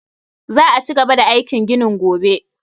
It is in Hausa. Za'a ci gaba da aikin gini gobe